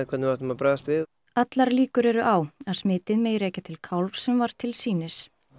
hvernig við ættum að bregðast við allar líkur eru á að smitið megi rekja til kálfs sem var til sýnis